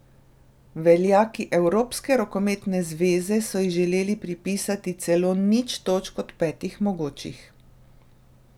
Veljaki Evropske rokometne zveze so ji želeli pripisati celo nič točk od petih mogočih.